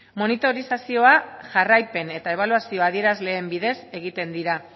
monitorizazio jarraipen eta ebaluazio adierazleen bidez egiten dira